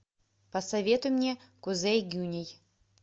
посоветуй мне кузей гюней